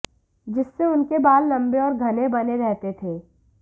जिससे उनके बाल लम्बे और घने बने रहते थे